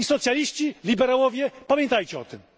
I socjaliści, liberałowie, pamiętajcie o tym!